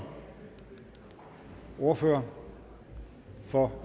ordfører for